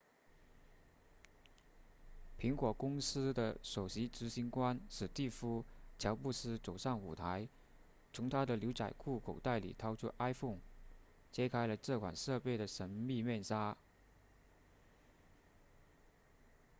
苹果公司的首席执行官史蒂夫乔布斯走上舞台从他的牛仔裤口袋里掏出 iphone 揭开了这款设备的神秘面纱